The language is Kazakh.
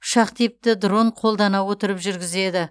ұшақ типті дрон қолдана отырып жүргізеді